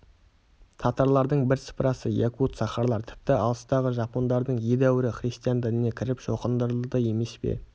татарлардың бірсыпырасы якут-сахалар тіпті алыстағы жапондардың едәуірі христиан дініне кіріп шоқындырылды емес пе